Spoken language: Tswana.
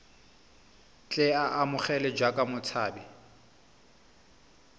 tle a amogelwe jaaka motshabi